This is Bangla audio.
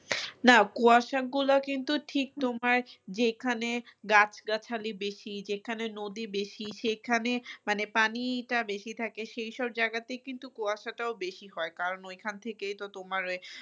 না কুয়াশাগুলো কিন্তু ঠিক তোমার যেখানে গাছ গাছালি বেশি যেখানে নদী বেশি সেখানে মানে পানিটা বেশি থাকে সেই সব জায়গাতেও কিন্তু কুয়াশাটাও বেশি হয় কারণ ওইখান থেকে তো তোমার